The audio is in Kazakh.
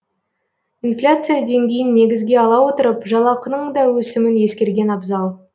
инфляция деңгейін негізге ала отырып жалақының да өсімін ескерген абзал